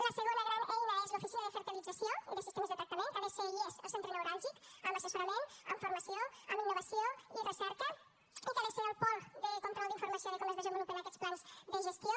la segona gran eina és l’oficina de fertilització i de sistemes de tractament que ha de ser i és el centre neuràlgic en assessorament en formació en innovació i recerca i que ha de ser el pol de control d’informació de com es desenvolupen aquests plans de gestió